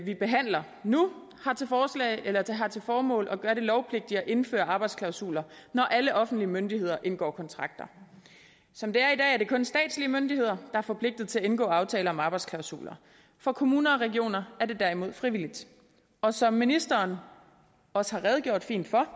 vi behandler nu har til formål at gøre det lovpligtigt at indføre arbejdsklausuler når alle offentlige myndigheder indgår kontrakter som det er i dag er det kun statslige myndigheder er forpligtet til at indgå aftaler om arbejdsklausuler for kommuner og regioner er det derimod frivilligt og som ministeren også har redegjort fint for